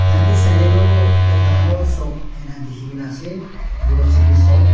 tatae sailae tu ekta dangor shop ena dikhina ase grocery shop .